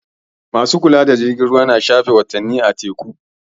Ma su kula da jirgin ruwa na shafe watanni a teku.